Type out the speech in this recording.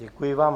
Děkuji vám.